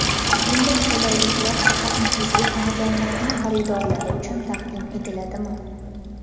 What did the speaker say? Bunday qulayliklar faqat nufuzli xonadonlarning xaridorlari uchun taqdim etiladimi?